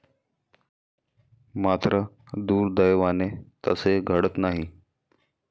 मात्र, दुर्दैवाने तसे घडत नाही.